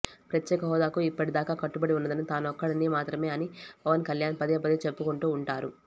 ప్రత్యేకహోదాకు ఇప్పటిదాకా కట్టుబడి ఉన్నదని తానొక్కడిని మాత్రమే అని పవన్ కల్యాణ్ పదేపదే చెప్పుకుంటూ ఉంటారు